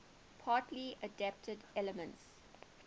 party adapted elements